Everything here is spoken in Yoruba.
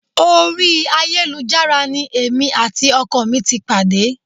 Orí ayélujára ni èmi àti ọkọ mi ti pàdé